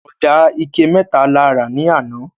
Oda ike meta la ra ni ana